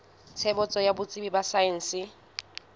tshebetso ya botsebi ba saense